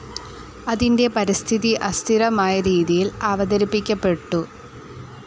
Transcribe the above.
അതിൻ്റെ പരിസ്ഥിതി അസ്ഥിരമായ രീതിയിൽ അവതരിപ്പിക്കപ്പെട്ടു.